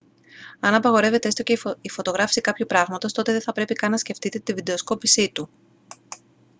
αν απαγορεύεται έστω η φωτογράφιση κάποιου πράγματος τότε δεν θα πρέπει καν να σκεφτείτε τη βιντεοσκόπησή του